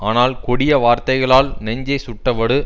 ஆனால் கொடிய வார்த்தைகளால் நெஞ்சைச் சுட்ட வடு